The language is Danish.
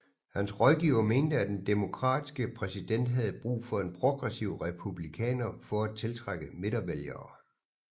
Hans rådgivere mente at den Demokratiske præsident havde brug for en progressiv Republikaner for at tiltrække midtervælgere